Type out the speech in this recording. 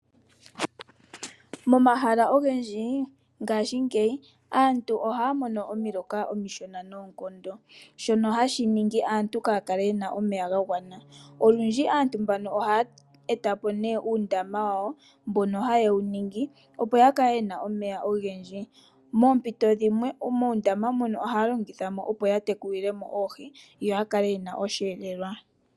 Momahala ogendji ngaashingeyi aantu ohaya mono omiloka omishona noonkondo, shono hashi ningi aantu kaaya kale yena omeya ga gwana. Olundji aantu mbano ohaya eta po nee uundama wawo mbono haye wu ningi, opo ya kale wuna omeya ogendji. Moompito dhimwe moondama mono haya longitha mo, opo ya tekulile mo oohi yo ya kale yena osheelelwa.